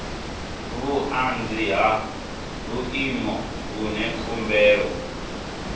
vhuanzi ha vhuimo vhune khumbelo